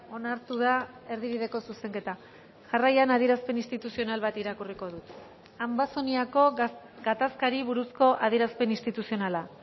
onartu da erdibideko zuzenketa jarraian adierazpen instituzional bat irakurriko dut ambazoniako gatazkari buruzko adierazpen instituzionala